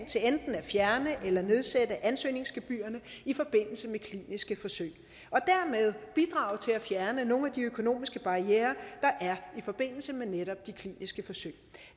fjerne eller nedsætte ansøgningsgebyrerne i forbindelse med kliniske forsøg og dermed bidrage til at fjerne nogle af de økonomiske barrierer der er i forbindelse med netop de kliniske forsøg